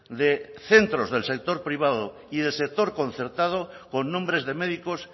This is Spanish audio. de centros del sector privado y del sector concertado con nombres de médicos